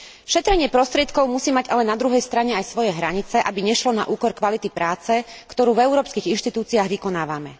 Šetrenie prostriedkov musí mať ale na druhej strane aj svoje hranice, aby nešlo na úkor kvality práce, ktorú v európskych inštitúciách vykonávame.